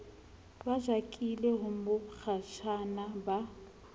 ba jakile ho mokgatjhane ba